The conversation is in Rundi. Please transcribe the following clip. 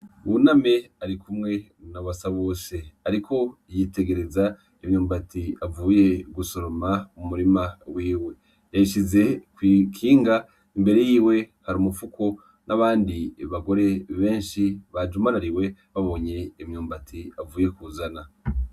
Buname arikumwe na Basabose ariko yutegereza imyumbati avuye gusoroma mu murima wiwe yayishize ki ikinga imbere yiwe hari umufuko n'abandi bagore beshi bajumarariwe babonye imyumbati avuye kuzana.